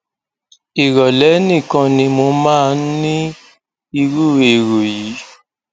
ìrọlẹ nìkan ni mo máa ń ní irú èrò yìí